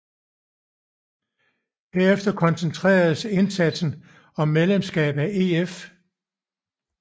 Herefter koncentreredes indsatsen om medlemskab af EF